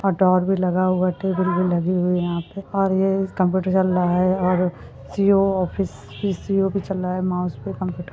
--और डोर भी लगा हुआ है टेबल भी लगी हुई है यहाँ पे और ये कंप्युटर चल रहा है और सी_ई_ओ ऑफिस पी_सी_ओ भी चल रहा है माउस भी कंप्युटर --